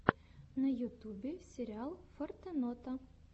на ютубе сериал фортенота